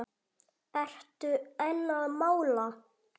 Ertu enn að mála?